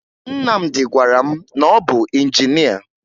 Nnamdị gwara m na ọ bụ injinịa